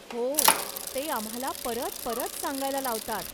हो. ते आम्हाला परत परत सांगायला लावतात.